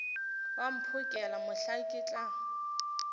wa mphokela mohla ke tla